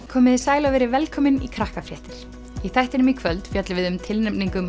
komiði sæl og verið velkomin í Krakkafréttir í þættinum í kvöld fjöllum við um tilnefningu